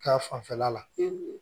Ka fanfɛla la